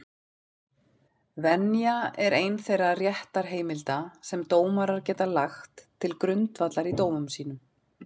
Venja er ein þeirra réttarheimilda sem dómarar geta lagt til grundvallar í dómum sínum.